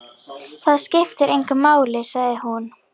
Það skiptir engu máli, sagði hún.